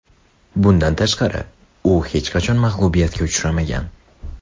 Bundan tashqari, u hech qachon mag‘lubiyatga uchramagan.